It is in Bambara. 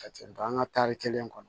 Ka ten nga an ka tari kelen kɔnɔ